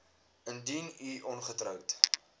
indien u ongetroud